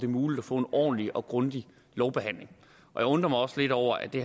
muligt at få en ordentlig og grundig lovbehandling jeg undrer mig også lidt over at det